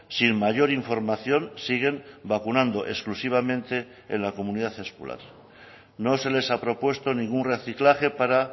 sin mayor información siguen vacunando exclusivamente en la comunidad escolar no se les ha propuesto ningún reciclaje para